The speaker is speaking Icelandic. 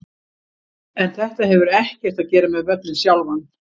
En þetta hefur ekkert að gera með völlinn sjálfan.